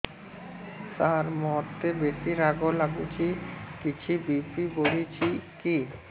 ସାର ମୋତେ ବେସି ରାଗ ଲାଗୁଚି କିଛି ବି.ପି ବଢ଼ିଚି କି